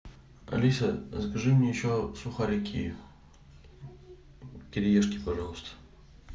алиса закажи мне еще сухарики кириешки пожалуйста